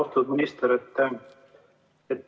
Austatud minister!